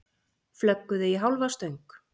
Flögguðu í hálfa stöng